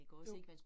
Jo